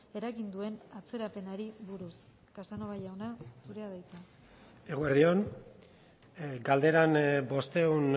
eragin duen atzerapenari buruz casanova jauna zurea da hitza eguerdi on galderan bostehun